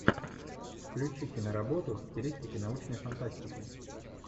включи киноработу в стилистике научной фантастики